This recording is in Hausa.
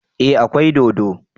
Eh akwai dodo